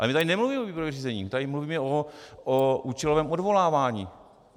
Ale my tady nemluvíme o výběrovém řízení, my tady mluvíme o účelovém odvolávání.